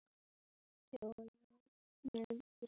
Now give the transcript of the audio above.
Gummi er fallinn frá.